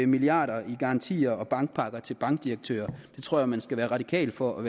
milliarder i garantier og bankpakker til bankdirektører det tror jeg at man skal være radikal for at